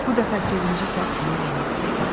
Bu dəfə sevinci səbrini yenib.